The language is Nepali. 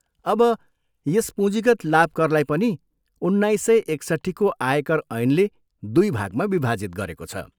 अब, यस पुँजीगत लाभ करलाई पनि उन्नाइस सय एकसट्ठीको आयकर ऐनले दुई भागमा विभाजित गरेको छ।